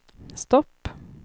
stopp